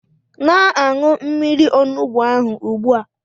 Na-aṅụ mmiri onugbu ahụ ugbu a!